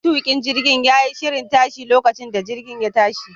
Matukin jirgin ya yi shirin tashi lokacin da injin ya tashi.